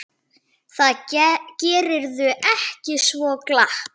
Það gerirðu ekki svo glatt.